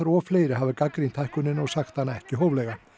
og fleiri hafa gagnrýnt hækkunina og sagt hana ekki hóflega